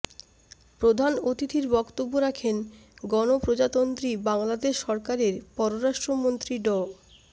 প্রধান অতিথির বক্তব্যে রাখেন গণপ্রজাতন্ত্রী বাংলাদেশ সরকারের পররাষ্ট্রমন্ত্রী ড